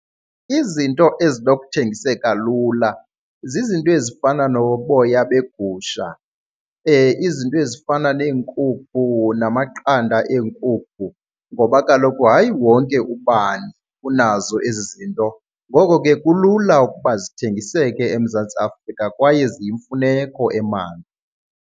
Izinto ezinokuthengiseka lula zizinto ezifana noboya begusha, izinto ezifana neenkukhu namaqanda eenkukhu. Ngoba kaloku hayi wonke ubani unazo ezi zinto, ngoko ke kulula ukuba zithengiseke eMzantsi Afrika kwaye ziyimfuneko .